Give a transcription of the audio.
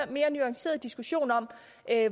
mere nuanceret diskussion om